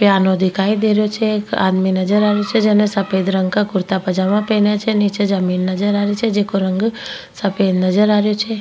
Piano दिखाई दे रहियो छे एक आदमी नजर आ रियो छे जिने सफेद रंग का कुर्ता पजामा पहना छे नीचे जमीन नजर आ रही छे जिको रंग सफेद नजर आ रियो छे।